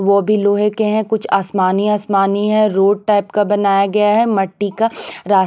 वो भी लोहे के हैं कुछ आसमानी आसमानी है रोड टाइप का बनाया गया है मट्टी का र